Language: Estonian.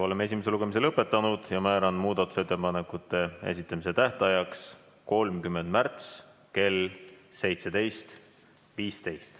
Oleme esimese lugemise lõpetanud ja määran muudatusettepanekute esitamise tähtajaks 30. märtsi kell 17.15.